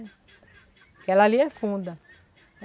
Porque ela ali é funda.